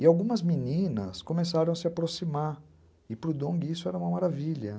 E algumas meninas começaram a se aproximar, e para o Dong isso era uma maravilha.